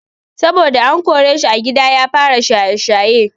Saboda an koreshi a gida ya fara shaye-shaye.